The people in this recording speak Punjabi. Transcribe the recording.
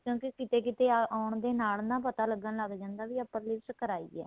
ਕਿਉਂਕਿ ਕਿਤੇ ਕਿਤੇ ਆਉਣ ਦੇ ਨਾਲ ਪਤਾ ਲੱਗਣ ਲੱਗ ਜਾਂਦਾ ਵੀ upper lips ਕਰਾਈ ਏ